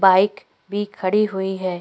Bike भी खड़ी हुई है।